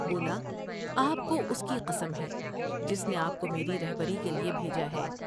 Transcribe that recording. بولا آپ کو اس کی قسم ہے جس نے آپ کو میری رہبری کے لیے بھیجا ہے ۔